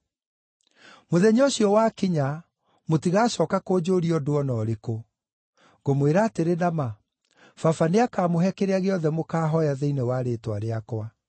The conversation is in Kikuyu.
Mũthenya ũcio wakinya mũtigacooka kũnjũũria ũndũ o na ũrĩkũ. Ngũmwĩra atĩrĩ na ma, Baba nĩakamũhe kĩrĩa gĩothe mũkaahooya thĩinĩ wa rĩĩtwa rĩakwa.